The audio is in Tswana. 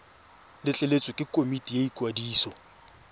letleletswe ke komiti ya ikwadiso